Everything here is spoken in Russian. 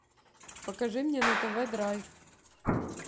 покажи мне на тв драйв